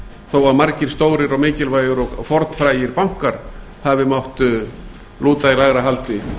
þó að margir og stórir og mikilvægir og fornfrægir bankar hafi mátt lúta í lægra haldi